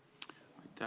Aitäh!